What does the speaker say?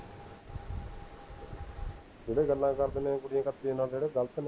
ਜਿਹੜੇ ਗੱਲਾਂ ਕਰਦੇ ਨੇ ਉਹ ਕੁੜੀਆਂ ਨਾਲ, ਜਿਹੜੇ ਗਲਤ ਨੇ